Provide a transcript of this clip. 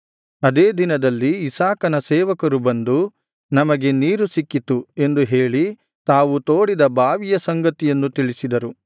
ಅದೇ ದಿನದಲ್ಲಿ ಇಸಾಕನ ಸೇವಕರು ಬಂದು ನಮಗೆ ನೀರು ಸಿಕ್ಕಿತು ಎಂದು ಹೇಳಿ ತಾವು ತೋಡಿದ ಬಾವಿಯ ಸಂಗತಿಯನ್ನು ತಿಳಿಸಿದರು